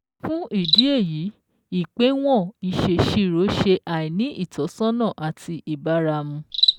Fún ìdí èyí, Ìpéwọ̀n ìsèsirò ṣe àìní ìtọ́sọ́nà àti ìbáramu